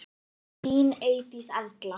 Þín Eydís Erla.